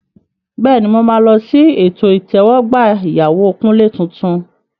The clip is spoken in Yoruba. Bẹ́ẹ̀ni, mo máa lọ sí ètò ìtẹ́wọ́gbà ìyàwó Kunle tuntun.